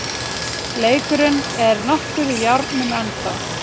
Leikurinn er nokkuð í járnum ennþá